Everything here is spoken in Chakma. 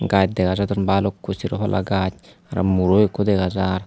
gaj dega jadon bhalukku sero palla gaj aro muro ekku dega jar.